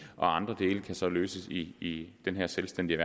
og andre dele kan så løses i den her selvstændige